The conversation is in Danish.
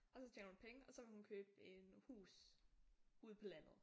Og så tjener hun penge og så vil hun købe en hus ude på landet